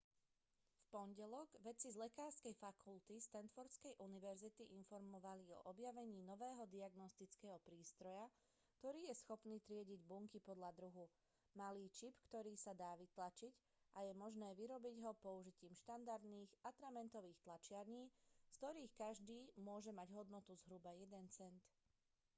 v pondelok vedci z lekárskej fakulty stanfordskej univerzity informovali o objavení nového diagnostického prístroja ktorý je schopný triediť bunky podľa druhu malý čip ktorý sa dá vytlačiť a je možné vyrobiť ho použitím štandardných atramentových tlačiarní z ktorých každý môže mať hodnotu zhruba jeden cent